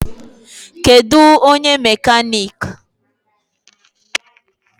Kedụ onye mekanik?